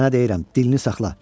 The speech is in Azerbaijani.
Sənə deyirəm, dilini saxla.